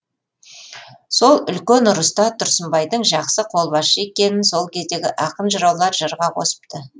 сол үлкен ұрыста тұрсынбайдың жақсы қолбасшы екенін сол кездегі ақын жыраулар жырға қосыпты